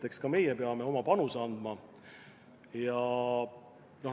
Eks ka meie peame oma panuse andma.